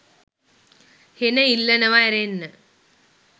හෙන ඉල්ලනවා ඇරෙන්න